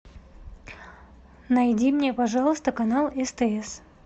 найди мне пожалуйста канал стс